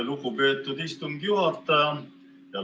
Lugupeetud istungi juhataja!